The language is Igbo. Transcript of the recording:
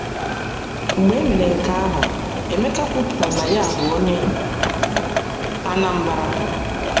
Mgbe e mere nke ahụ, Emeka kwupụtara na ya bụ onye Anambra.